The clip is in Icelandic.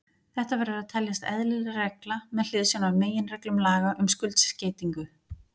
Þetta verður að teljast eðlileg regla með hliðsjón af meginreglum laga um skuldskeytingu.